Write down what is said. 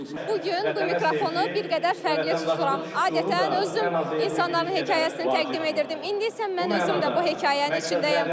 Bu gün bu mikrofonu bir qədər fərqli tuturam, adətən özüm insanların hekayəsini təqdim edirdim, indi isə mən özüm də bu hekayənin içindəyəm.